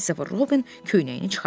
Kristofer Robin köynəyini çıxartdı.